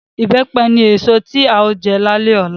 Ìbẹ́pẹ ni èso tí a ó jẹ lálẹ́ ọ̀la